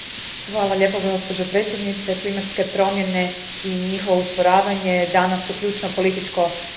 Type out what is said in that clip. Gospođo predsjednice, klimatske promjene i njihovo usporavanje danas su ključno političko pitanje.